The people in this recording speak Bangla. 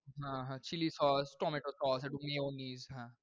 হ্যাঁ হ্যাঁ, chilli sauce, tomato sauce এবং mayonnaise হ্যাঁ।